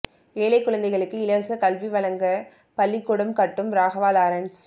ஏழை குழந்தைகளுக்கு இலவச கல்வி வழங்க பள்ளிக்கூடம் கட்டும் ராகவா லாரன்ஸ்